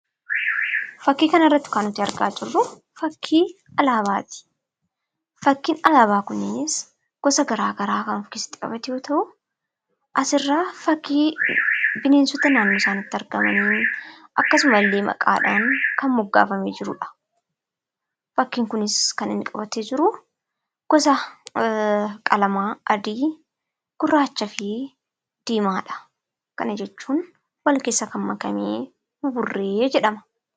Fakkii kanarratti kan nuti argaa jirru fakkii alaabaati. Fakkiin alaabaa kunis gosa garaagaraa kan of keessatti qabatu yoo ta'u, asirraa fakkii bineensota naannoo isaaniitti argamanii akkasumallee maqaadhaan kan moggaafamee jirudha. Fakkiin kunis kan inni qabatee jiru gosa qalamaa adii, gurraachaa fi diimaadha. Kan jechuun wal keessa kan makame buburree jedhama.